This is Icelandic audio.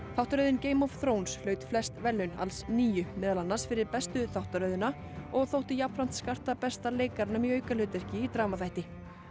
þáttaröðin Game of hlaut flest verðlaun alls níu meðal annars fyrir bestu þáttaröðina og þótti jafnframt skarta besta leikaranum í aukahlutverki í